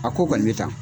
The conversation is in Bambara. A ko kɔni bɛ tan